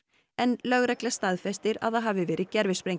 en lögregla staðfesti að það hafi verið